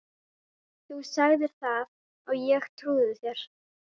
. þú sagðir það og ég trúði þér.